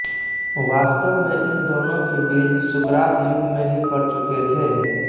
वास्तव में इन दोनों के बीज सुकरात युग में ही पड़ चुके थे